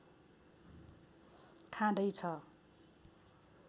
खाँदै छ